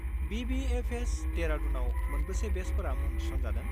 BBFS., देरादुनआव मोनबेसे बेचफोरा मुं थिसनजादों?